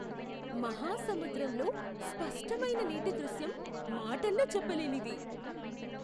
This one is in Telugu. మహాసముద్రంలో స్పష్టమైన నీటి దృశ్యం మాటల్లో చెప్పలేనిది!